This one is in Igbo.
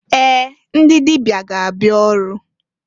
Ee! Ndị dịbịa ga-abịa ọrụ.